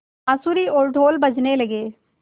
बाँसुरी और ढ़ोल बजने लगे